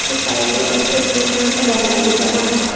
Side में एक blue colour का बैनर भी लगा हुआ है।